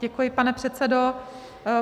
Děkuji, pane předsedo.